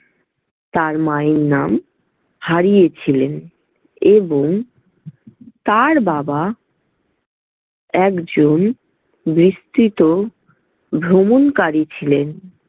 তাঁর মায়ের নাম, হারিয়েছিলেন এবং তাঁর বাবা একজন বিস্তৃত ভ্রমণকারী ছিলেন।